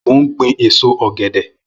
Mó n gbin ésó ọgẹdẹ